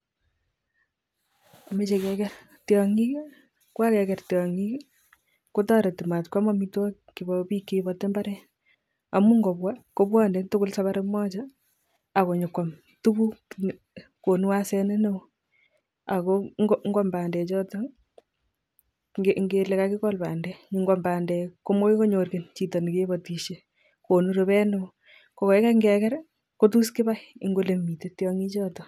Mache keker tyong'ik, kuakeger tyong'ik ko toreti mat koam amitwogik chebo biik che iboti mbaret amun kobwa kobwani tugul safari moja akobwane koam tukuk. Konu aseni neoo ako ngoam bandechoto, ngele kakikol bandek, ngoam bandek komoi konyor chito ne kabatishe, konu rube neoo. Ko kaikai ngeker ko tos kibai eng ole mite tyong'ichoto.